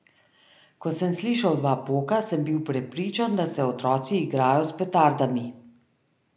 Ko sem slišal dva poka, sem bil prepričan, da se otroci igrajo s petardami.